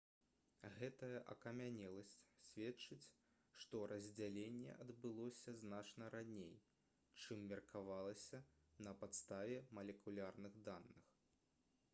гэтая акамянеласць сведчыць што раздзяленне адбылося значна раней чым меркавалася на падставе малекулярных даных